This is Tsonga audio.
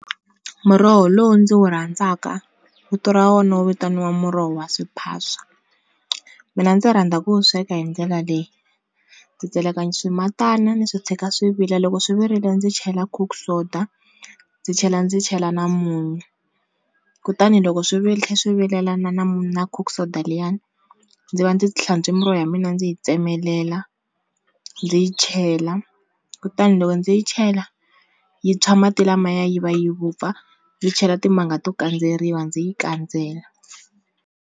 Muroho lowu ndzi wu rhandzaka vito ra wona wu vitaniwa muroho wa swiphaswa, mina ndzi rhandza ku wu sweka hi ndlela leyi, ku tseleka swimitana ni swi tshika swi vila loko swi virile ndzi chela cook soda ndzi chela ndzi chela na munyu, kutani loko swi tlhe swi vilela na na munyu na cook soda liyani ndzi va ndzi hlantswe muroho ya mina ndzi yi tsemelela ndzi yi chela kutani loko ndzi yi chela yi tshwa mati lamaya yi va yi vupfa yi chela timanga to kandzeriwa ndzi yi kandzela.